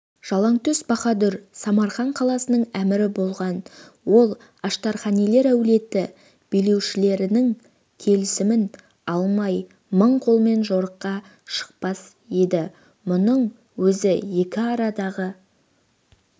жалаңтөс баһадүр самарқан қаласының әмірі болған ол аштарханилер әулеті билеушілерінің келісімін алмай мың қолмен жорыққа шықпас еді мұның өзі екі арасындағы